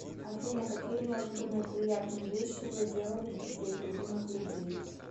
афина какие неожиданные приятные вещи вы делали для своих любимых людей